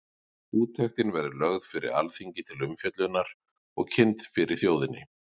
Úttektin verður lögð fyrir Alþingi til umfjöllunar og kynnt fyrir þjóðinni.